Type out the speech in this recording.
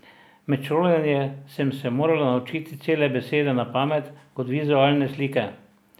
Med šolanjem sem se morala naučiti cele besede na pamet, kot vizualne slike.